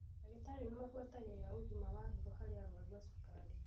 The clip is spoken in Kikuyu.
Dagĩtarĩ nĩmabuatagĩrĩra ũgima wa higo harĩ arwaru a cukari.